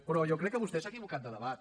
però jo crec que vostè s’ha equivocat de debat